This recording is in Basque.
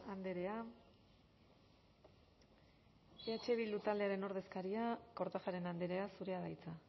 andrea eh bildu taldearen ordezkaria kortajarena andrea zurea da hitza